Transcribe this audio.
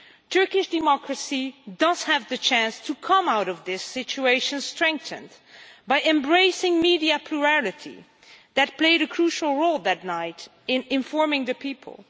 Turkish democracy does have the chance to come out of this situation strengthened by embracing media plurality, which played a crucial role that night in informing the people